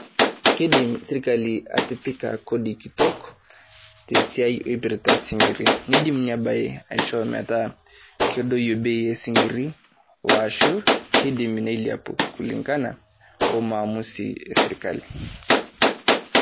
Keidim sirkali atipikaa koodi nkitok te siai eipirita sinkirri. Neidim enye baye asho metaa kedoyo bei e sinkirr oshu keidim neleapu kulingana o maamusi e sirikali.